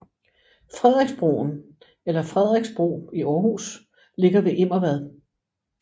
Frederiksbroen eller Frederiks Bro i Aarhus ligger ved Immervad